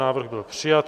Návrh byl přijat.